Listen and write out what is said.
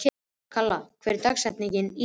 Kalla, hver er dagsetningin í dag?